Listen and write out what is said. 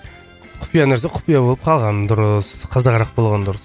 құпия нәрсе құпия болып қалғаны дұрыс қызығырақ болғаны дұрыс